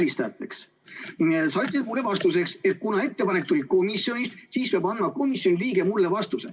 Sa ütlesid mulle vastuseks, et kuna ettepanek tuli komisjonist, siis peab andma komisjoni liige mulle vastuse.